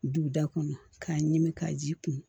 Du da kɔnɔ k'a ɲimi k'a ji kun